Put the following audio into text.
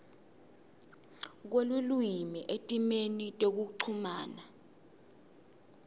kwelulwimi etimeni tekuchumana